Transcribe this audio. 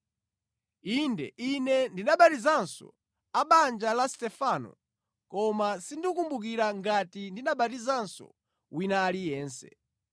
(Inde, ine ndinabatizanso a mʼbanja la Stefano, koma sindikumbukira ngati ndinabatizanso wina aliyense).